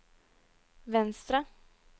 venstre